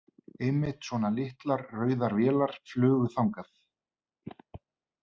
Einmitt svona litlar, rauðar vélar flugu þangað.